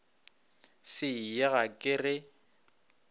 se ye ga ke re